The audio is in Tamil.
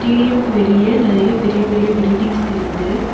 ஸ்டேடியம்க்கு வெளிய நெறைய பெரிய பெரிய பில்டிங்ஸ் தெரியிது.